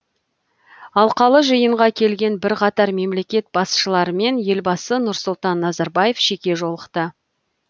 алқалы жиынға келген бірқатар мемлекет басшыларымен елбасы нұрсұлтан назарбаев жеке жолықты